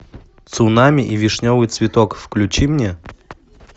цунами и вишневый цветок включи мне